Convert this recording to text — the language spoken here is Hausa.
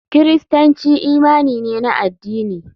Kiristanci imani ne na addini.